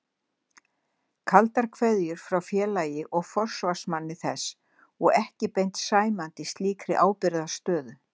Kaldar kveðjur frá félagi og forsvarsmanni þess og ekki beint sæmandi slíkri ábyrgðarstöðu.